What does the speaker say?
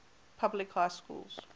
public high schools